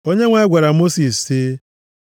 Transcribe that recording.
Onyenwe anyị gwara Mosis sị,